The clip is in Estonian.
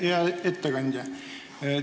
Hea ettekandja!